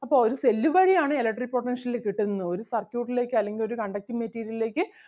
അപ്പം ഒരു cell വഴി ആണ് electric potential കിട്ടുന്നത് ഒരു circuit ലേക്ക് അല്ലെങ്കിൽ ഒരു conducting material ലേക്ക്